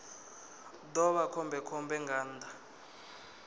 ḓo vha khombekhombe nga nnḓa